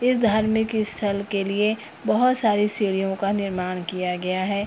इस धार्मिक स्थल के लिए बहुत सारे सीढ़ियों का निर्माण किया गया है।